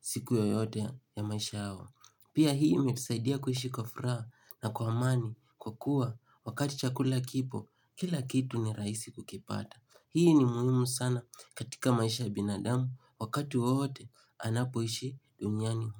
Siku yoyote ya maisha yao, pia hii imetusaidia kuishi kwa furaha na kwa amani kwa kuwa wakati chakula kipo kila kitu ni rahisi kukipata. Hii ni mihimu sana katika maisha ya binadam wakati wowote anapo ishi duniani.